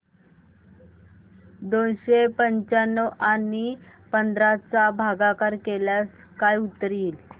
दोनशे पंच्याण्णव आणि पंधरा चा भागाकार केल्यास काय उत्तर येईल